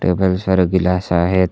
Table वर सारे glass आहेत.